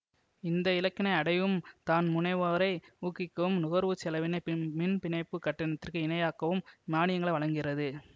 இந்த இலக்கினை அடையவும் தன்முனைவோரை ஊக்குவிக்கவும் நுகர்வு செலவினை பின்மின்பிணைப்பு கட்டணத்திற்கு இணையாக்கவும் மானியங்கள் வழங்குகிறது